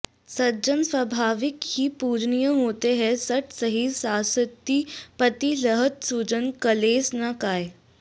सज्जन स्वाभाविक ही पूजनीय होते है सठ सहि साँसति पति लहत सुजन कलेस न कायँ